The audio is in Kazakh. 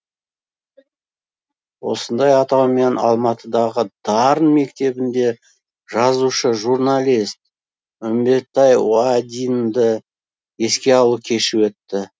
осындай атаумен алматыдағы дарын мектебінде жазушы журналист үмбетбай уайдинді еске алу кеші өтті